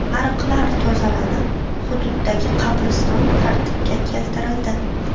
Ariqlar tozalanib, hududdagi qabriston tartibga keltirildi.